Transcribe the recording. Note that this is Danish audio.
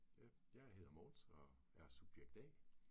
Ja, jeg hedder Mogens og er subjekt A